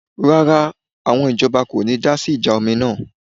Rárá, àwọn ìjọba kò ní dásí ìjà omi náà